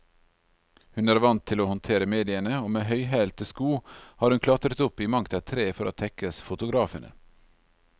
Hun er vant til å håndtere mediene, og med høyhælte sko har hun klatret opp i mangt et tre for å tekkes fotografene.